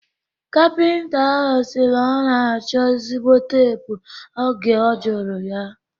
Kapịnta ahụ sịrị na ọ na-achọ ezigbo teepu oge a jụrụ ya